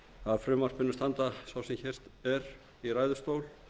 að frumvarpinu standa sá sem hér er í ræðustól